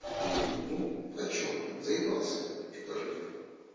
где-нибудь ну а что блин заебался я что-то жить уже